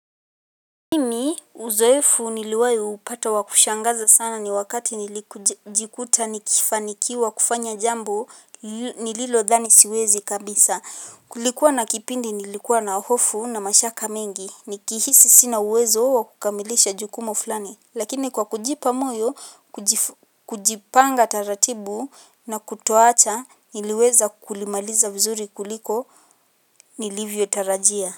Mimi uzoifu nilowai upata wa kushangaza sana ni wakati nilikujikuta nikifanikiwa kufanya jambo nililodhani siwezi kabisa. Kulikwa na kipindi nilikwa na hofu na mashaka mengi. Nikihisi sina uwezo wakamilisha jukumu flani. Lakini kwa kujipa moyo, kujipanga taratibu, na kutoacha, niluweza kulimaliza vizuri kuliko, nilivyotarajia.